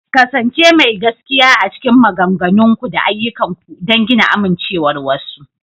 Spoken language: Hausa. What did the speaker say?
ƙasance mai gaskiya a cikin maganganunku da ayyukanku don gina amincewar wasu.